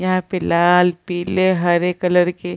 यहाँ पे लाल पीले हरे कलर के --